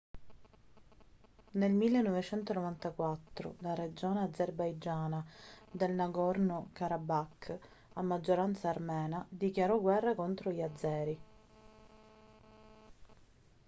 nel 1994 la regione azerbaigiana del nagorno karabakh a maggioranza armena dichiarò guerra contro gli azeri